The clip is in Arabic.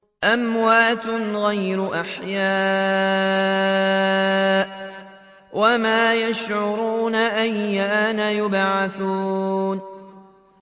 أَمْوَاتٌ غَيْرُ أَحْيَاءٍ ۖ وَمَا يَشْعُرُونَ أَيَّانَ يُبْعَثُونَ